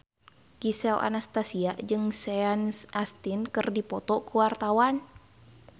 Gisel Anastasia jeung Sean Astin keur dipoto ku wartawan